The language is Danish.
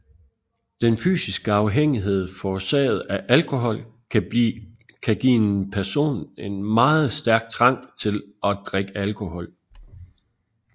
Den fysiske afhængighed forårsaget af alkohol kan give en person en meget stærk trang til at drikke alkohol